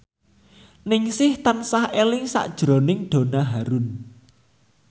Ningsih tansah eling sakjroning Donna Harun